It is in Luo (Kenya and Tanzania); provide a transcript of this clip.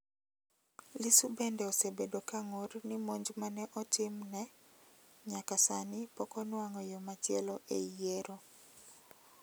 Lissu bende osebedo ka ng'ur ni monj ma neotimne nyaka sani poko nuang'o yo machielo e yiero